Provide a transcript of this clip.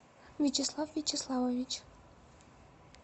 вячеслав вячеславович